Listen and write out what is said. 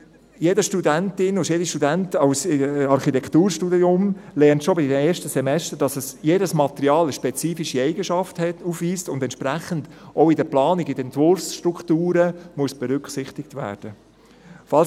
Jede Studentin und jeder Student im Architekturstudium lernt schon in den ersten Semestern, dass jedes Material eine spezifische Eigenschaft aufweist und entsprechend auch in der Planung, in den Entwurfsstrukturen berücksichtigt werden muss.